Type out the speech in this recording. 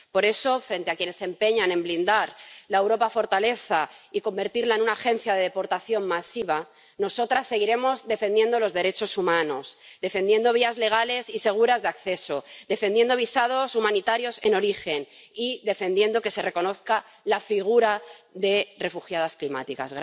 Por eso, frente a quienes se empeñan en blindar la Europa fortaleza y convertirla en una agencia de deportación masiva, nosotras seguiremos defendiendo los derechos humanos, defendiendo vías legales y seguras de acceso, defendiendo visados humanitarios en origen y defendiendo que se reconozca la figura de refugiadas climáticas.